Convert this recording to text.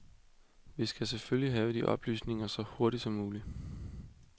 Vi skal selvfølgelig have de oplysninger, så hurtigt som muligt.